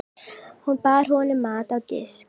Hún bar honum mat á disk.